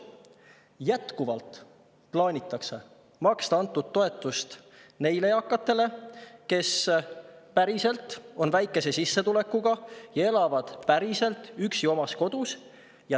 Jätkuvalt plaanitakse maksta toetust neile eakatele, kes päriselt on väikese sissetulekuga ja päriselt elavad üksi oma kodus.